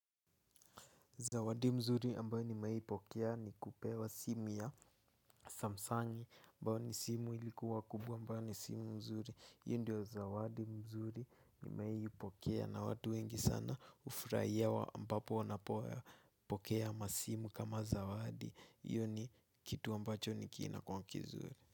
Zawadi mzuri ambayo nimewai pokea ni kupewa simu ya samsangi ambayo ni simu ilikuwa kubwa ambayo ni simu mzuri hiyo ndio zawadi mzuri nimewahi pokea na watu wengi sana hufurahia ambapo wanapokea masimu kama zawadi hiyo ni kitu ambacho kinakuwanga kizuri.